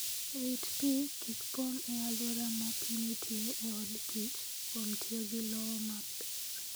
Rit pi kik pong' e alwora ma pi nitie e od kich , kuom tiyo gi lowo maber.